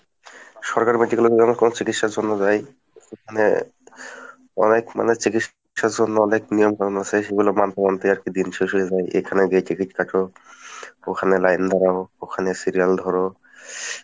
সরকারি medical এ যদি আমরা কখনো চিকিৎসার জন্য যাই মানে অনেক মানে চিকিৎসার জন্য অনেক নিয়ম কানুন আছে সেগুলো মানতে মানতেই আসলে দিন শেষ হয়ে যায়, এখানে গিয়ে ticket কাটো ওখানে line দাড়াও ওখানে serial ধরো